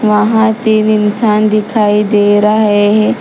वहां तीन इंसान दिखाई दे रहा है।